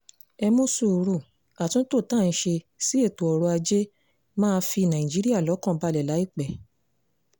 ẹ mú sùúrù àtúntò tá à ń ṣe sí ètò ọrọ̀-ajé máa fi nàìjíríà lọ́kàn balẹ̀ láìpẹ́